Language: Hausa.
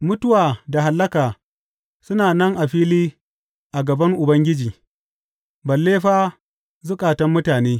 Mutuwa da Hallaka suna nan a fili a gaban Ubangiji, balle fa zukatan mutane!